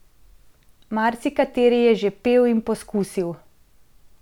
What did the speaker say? Marsikateri je že pel in poskusil.